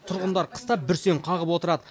тұрғындар қыста бүрсең қағып отырады